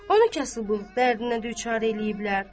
Onu kasıblığın dərdinə düçar eləyiblər.